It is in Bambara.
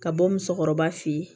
Ka bɔ musokɔrɔba fe yen